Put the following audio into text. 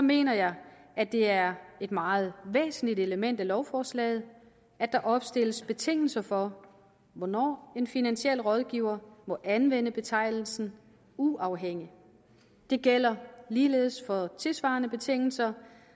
mener jeg at det er et meget væsentligt element ved lovforslaget at der opstilles betingelser for hvornår en finansiel rådgiver må anvende betegnelsen uafhængig det gælder ligeledes for tilsvarende betingelser